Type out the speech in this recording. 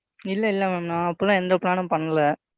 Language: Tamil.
இல்லை இல்லை Ma'am நான் அப்படிலாம் எந்த Plan உம் பண்ணலை.